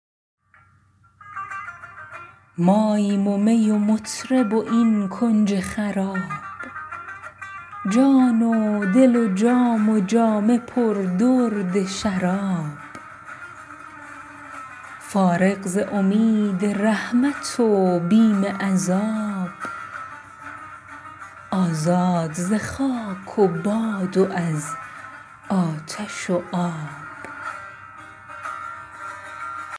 ماییم و می و مطرب و این کنج خراب جان و دل و جام و جامه پر درد شراب فارغ ز امید رحمت و بیم عذاب آزاد ز خاک و باد و از آتش و آب